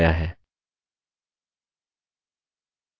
अगला हम outline view देखेंगे